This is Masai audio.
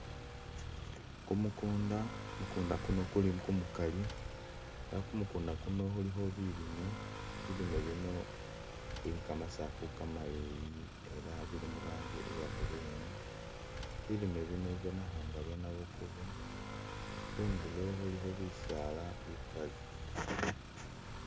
Kumukunda, mukunda kuno kuli kumukali ela kumukunda kuno kulikho bilime, bilime bino bye kamasafu kamaleyi ela bili murangi iya green ilime bino bibonekhanga bya nabukubo khundulo khulikho bisaala bikali.